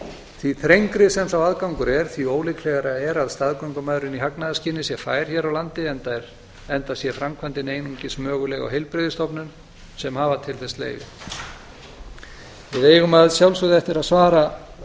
því þrengri sem sá aðgangur er því ólíklegra er að staðgöngumæðrun í hagnaðarskyni sé fær hér á landi enda sé framkvæmdin einungis möguleg á heilbrigðisstofnun sem hafa til þess leyfi við eigum að sjálfsögðu eftir að svara